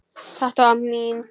Þetta var mín.